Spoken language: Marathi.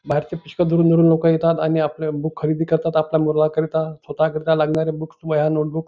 बाहेरचे पुष्कळ दुरून दुरून लोक येतात आणि आपले बुक खरेदी करतात आपल्या मुलांकरिता स्वतःकरीता लागणारे बुक्स वह्या नोट बुक्स --